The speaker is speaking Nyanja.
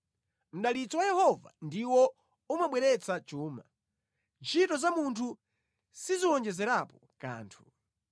Mdalitso wa Yehova ndiwo umabweretsa chuma, ntchito za munthu siziwonjezerapo kanthu.